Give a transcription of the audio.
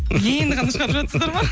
енді ғана шығарып жатсыздар ма